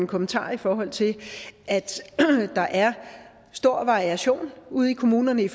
en kommentar i forhold til at der er stor variation ude i kommunerne i